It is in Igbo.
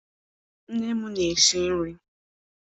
Nne m na-esi nri.